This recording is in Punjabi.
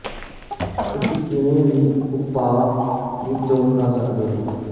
ਤੁਸੀਂ ਕਿਸੇ ਵੀ ਉਪਾਅ ਦੀ ਚੋਣ ਕਰ ਸਕਦੇ ਹੋ